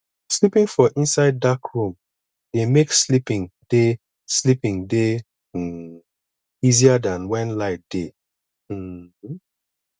sleeping for inside dark room dey make sleeping dey sleeping dey um easier than when light dey um